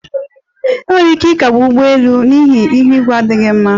Enwere ike ịkagbu ụgbọ elu n'ihi ihu igwe na-adịghị mma